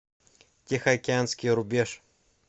тихоокеанский рубеж